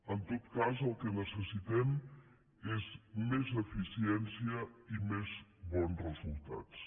en tot cas el que necessitem és més eficiència i més bon resultats